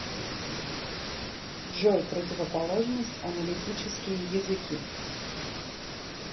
джой противоположность аналитические языки